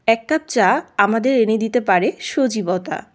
এক কাপ চা আমাদের এনে দিতে পারে সজীবতা।